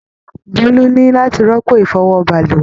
Bolu ní láti rọ́pò ifọwọ balùwẹ.